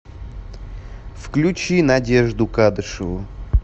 включи надежду кадышеву